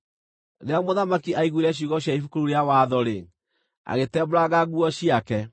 Rĩrĩa mũthamaki aaiguire ciugo cia Ibuku rĩu rĩa Watho-rĩ, agĩtembũranga nguo ciake.